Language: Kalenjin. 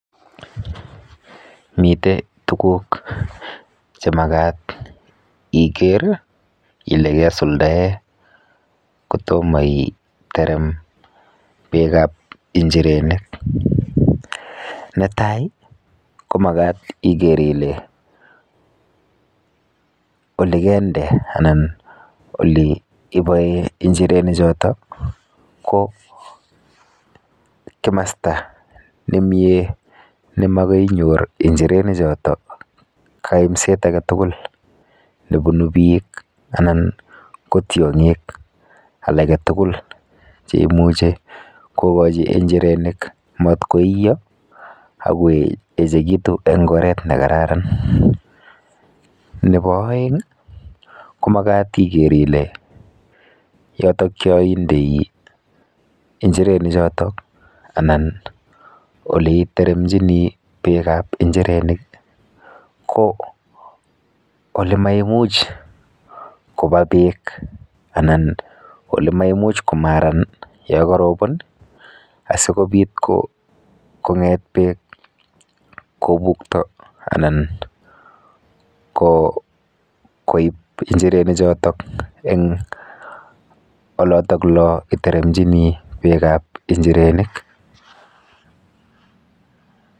Mite tuguk chemakat iker ile kesuldae kotomo iterem beekap injirenik. netai, ko makat iker ile olikende anan oliiboe injirenichoto ko kimasta nemie nemakoinyor injirenichoto kaimset aketugul nebunu biik anan ko tiong'ik alaketugul cheimuchi kokochi injirenik mat koiyo akoechekitu eng oret nekararan. Nepo oeng ko makat iker ile oleindei injirenichoto anan oleiteremchini beekap injirenik ko olemaimuch kopa beek anan olemaimuch komaran yokarobon asikobit kong'et beek kobukto anan koip injirenichoto eng olotoklo iteremchini beekap injirenik.